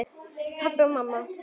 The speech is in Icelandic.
Pabbi og mamma.